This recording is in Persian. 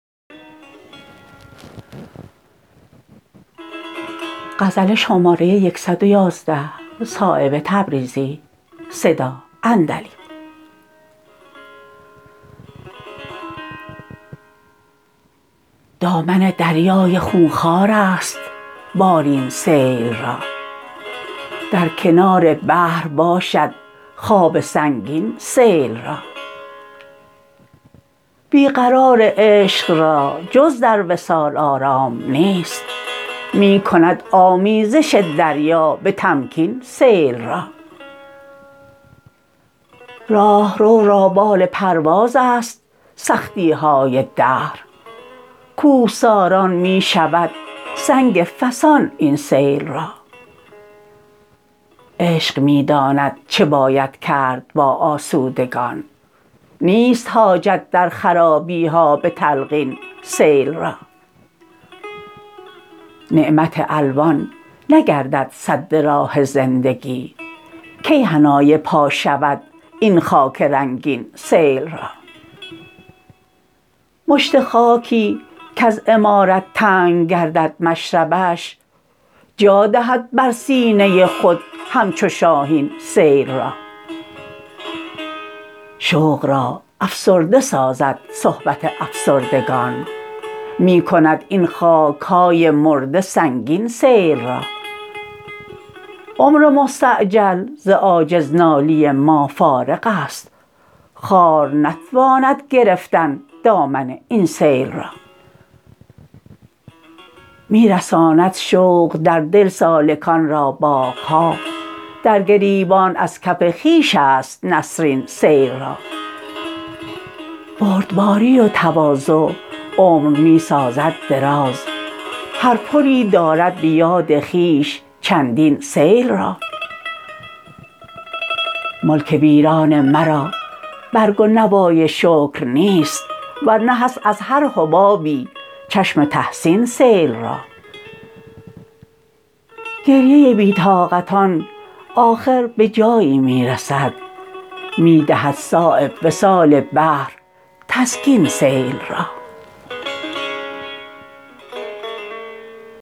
دامن دریای خونخوارست بالین سیل را در کنار بحر باشد خواب سنگین سیل را بی قرار عشق را جز در وصال آرام نیست می کند آمیزش دریا به تمکین سیل را راهرو را بال پروازست سختی های دهر کوهساران می شود سنگ فسان این سیل را عشق می داند چه باید کرد با آسودگان نیست حاجت در خرابی ها به تلقین سیل را نعمت الوان نگردد سد راه زندگی کی حنای پا شود این خاک رنگین سیل را مشت خاکی کز عمارت تنگ گردد مشربش جادهد بر سینه خود همچو شاهین سیل را شوق را افسرده سازد صحبت افسردگان می کند این خاک های مرده سنگین سیل را عمر مستعجل ز عاجز نالی ما فارغ است خار نتواند گرفتن دامن این سیل را می رساند شوق در دل سالکان را باغ ها در گریبان از کف خویش است نسرین سیل را بردباری و تواضع عمر می سازد دراز هر پلی دارد به یاد خویش چندین سیل را ملک ویران مرا برگ و نوای شکر نیست ورنه هست از هر حبابی چشم تحسین سیل را گریه بی طاقتان آخر به جایی می رسد می دهد صایب وصال بحر تسکین سیل را